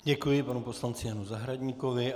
Děkuji panu poslanci Janu Zahradníkovi.